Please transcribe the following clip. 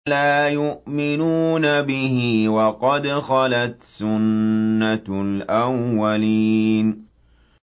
لَا يُؤْمِنُونَ بِهِ ۖ وَقَدْ خَلَتْ سُنَّةُ الْأَوَّلِينَ